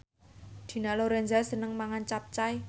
Dina Lorenza seneng mangan capcay